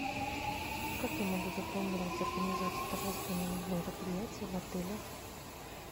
как я могу забронировать организацию торжественного мероприятия в отеле